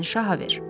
Məni şaha ver.